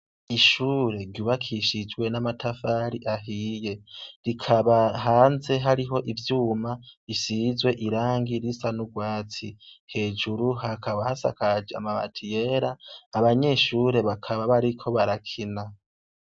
Ishure ryubakishijwe n'amatafari ahiye. Rikaba hanze hariho ivyuma bisizwe irangi risa n'urwatsi. Hejuru hakaba hasakaje amabati yera. Abanyeshure bakaba bariko barakina.